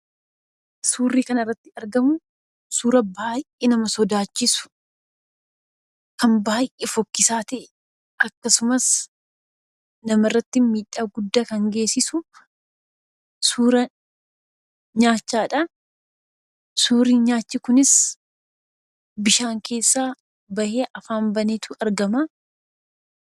Suurri kanarratti argamu, suuraa baay'ee nama sodaachisu kan baay'ee fokkisaa ta'e. Akkasumas namarratti miidhaa guddaa geessisu suuraa naachaadha. Suurri naachi kunis bishaan keessaa bahee afaan baneetu argama.